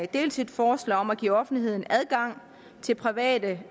dels et forslag om at give offentligheden adgang til private